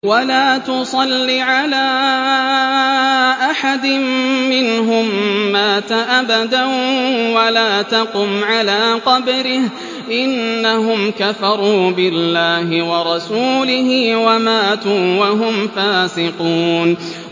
وَلَا تُصَلِّ عَلَىٰ أَحَدٍ مِّنْهُم مَّاتَ أَبَدًا وَلَا تَقُمْ عَلَىٰ قَبْرِهِ ۖ إِنَّهُمْ كَفَرُوا بِاللَّهِ وَرَسُولِهِ وَمَاتُوا وَهُمْ فَاسِقُونَ